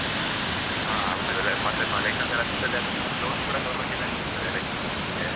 ಹಾ ಹೌದು, ಮತ್ತೆ license ಎಲ್ಲಾ ಸಿಕ್ತದೆ ಮತ್ತೆ ಅದಕ್ಕೆ loan ಕೂಡ government ಇಂದನೇ ಸಿಕ್ತದೆ license ಹಾಕ್ಲಿಕ್ಕೆ.